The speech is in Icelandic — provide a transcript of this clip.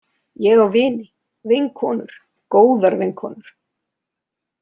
Ég á vini, vinkonur, góðar vinkonur.